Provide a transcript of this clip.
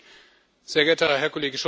Sehr geehrter Herr Kollege Scholz!